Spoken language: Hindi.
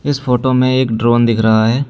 इस फोटो में एक ड्रोन दिख रहा है।